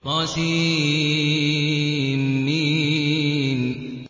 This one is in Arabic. طسم